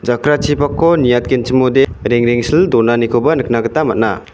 jakrachipakko niatgenchimode rengrengsil donanikoba nikna gita man·a.